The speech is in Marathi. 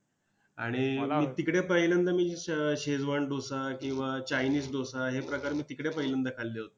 आणि तिकडे पहिल्यांदा मी शेजवान डोसा किंवा चायनीज डोसा हे प्रकार मी तिकडे पहिल्यांदा मी खाल्ले होते.